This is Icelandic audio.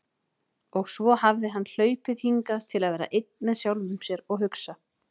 Og svo hafði hann hlaupið hingað til að vera einn með sjálfum sér og hugsa.